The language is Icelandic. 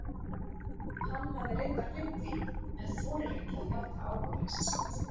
Hann hafði reyndar gleymt því en þorir ekki að játa áhugaleysi sitt.